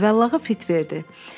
Cüvallağı fit verdi.